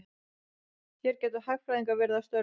Hér gætu hagfræðingar verið að störfum.